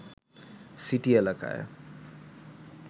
city এলাকায়